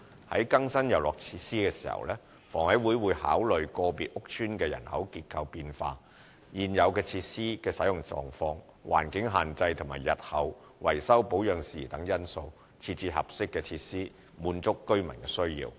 在更新遊樂設施時，房委會會考慮個別屋邨的人口結構變化、現有設施的使用狀況、環境限制和日後維修保養事宜等因素，設置合適的設施，滿足居民的需要。